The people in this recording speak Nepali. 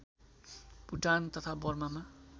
भुटान तथा बर्मामा